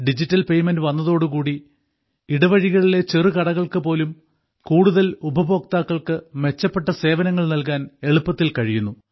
digital payment വന്നതോടുകൂടി ഇടവഴികളിലെ ചെറു കടകൾക്കു പോലും കൂടുതൽ ഉപഭോക്താക്കൾക്ക് മെച്ചപ്പെട്ട സേവനങ്ങൾ നൽകാൻ എളുപ്പത്തിൽ കഴിയുന്നു